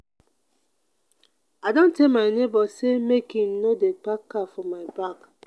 i don tell my nebor sey make im no dey park car for my back.